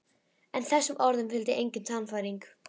En þessum orðum fylgdi engin sannfæring.